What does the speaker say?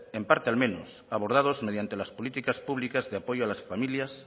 en parte al menos abordados mediante las políticas públicas de apoyo a las familias